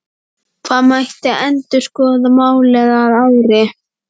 Það mætti endurskoða málið að ári.